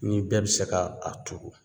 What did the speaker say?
Ni bɛɛ bi se ka a turu